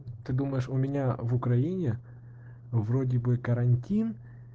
ты думаешь у меня в украине вроде бы карантин